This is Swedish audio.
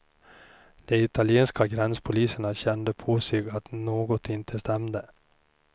De italienska gränspoliserna kände på sig att något inte stämde.